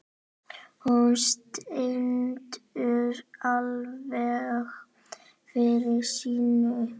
Hún stendur alveg fyrir sínu.